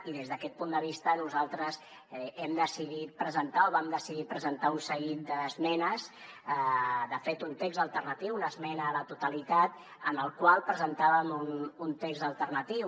i des d’aquest punt de vista nosaltres vam decidir presentar un seguit d’esmenes de fet un text alternatiu una esmena a la totalitat en la qual presentàvem un text alternatiu